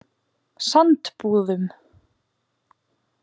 Sandbúðum